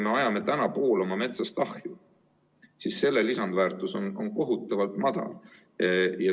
Me ajame poole oma metsast ahju ja selle lisandväärtus on kohutavalt madal.